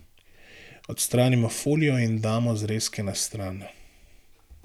Odstranimo folijo in damo zrezke na stran.